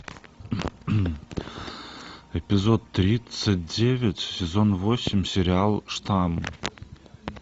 эпизод тридцать девять сезон восемь сериал штамм